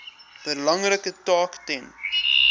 belangrike taak ten